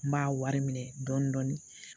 N b'a wari minɛ dɔɔnin dɔɔnin